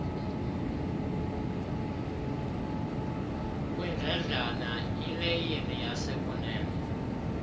kwindledlana ileyini yasekunene